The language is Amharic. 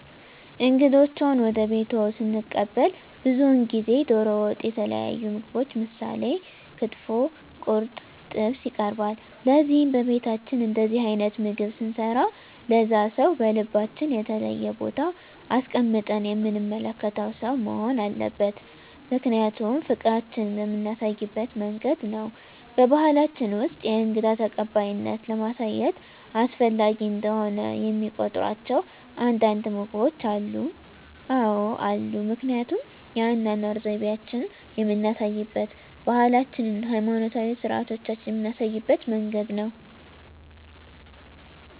እንግዶችዎን ወደ ቤትዎ ስንቀበል ብዙውን ጊዜ ደሮ ወጥ የተለያዩ ምግቦች ምሳሌ ክትፎ ቁርጥ ጥብስ ይቀርባል ለዚህም በቤታችን እንደዚህ አይነት ምግብ ስንሰራ ለዛ ሰው በልባችን የተለየ ቦታ አስቀምጠን የምንመለከተው ሰው መሆን አለበት ምክንያቱም ፍቅራችን የምናሳይበት መንገድ ነው በባሕላችን ውስጥ የእንግዳ ተቀባይነትን ለማሳየት አስፈላጊ እንደሆነ የሚቆጥሯቸው አንዳንድ ምግቦች አሉ? አዎ አሉ ምክንያቱም የአኗኗር ዘይቤአችንን የምናሳይበት ባህላችንን ሀይማኖታዊ ስርአቶቻችንን ምናሳይበት መንገድ ነው